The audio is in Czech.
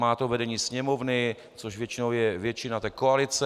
Má to vedení Sněmovny, což většinou je většina té koalice.